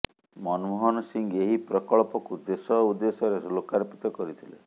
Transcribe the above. ମନମୋହନ ସିଂ ଏହି ପ୍ରକଳ୍ପକୁ ଦେଶ ଉଦ୍ଦେଶ୍ୟରେ ଲୋକାର୍ପିତ କରିଥିଲେ